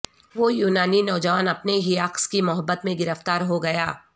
وہ یونانی نوجوان اپنے ہی عکس کی محبت میں گرفتار ہو گیا